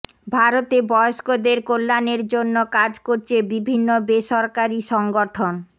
ভারতে বয়স্কদের কল্যাণের জন্য কাজ করছে বিভিন্ন বেসরকারি সংগঠন